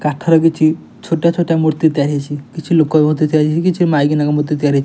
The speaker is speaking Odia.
କାଠର କିଛି ଛୋଟଆ ଛୋଟଆ ମୂର୍ତ୍ତି ତିଆର ହେଇଚି। କିଛି ଲୋକ ମଧ୍ୟ ତିଆରି ହେଇଚି। କିଛି ମାଇକିନାଙ୍କ ମୂର୍ତ୍ତି ତିଆରି ହେଇଚି।